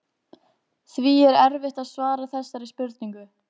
Því er erfitt að svara þessari spurningu.